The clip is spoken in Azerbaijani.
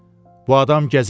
Bu adam gəzəyəndi.